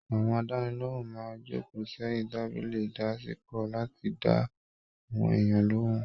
Àwọn àdánilohùn máa n joko sẹyìn tábìlì ìdásìkò láti dá àwọn èèyàn lohùn.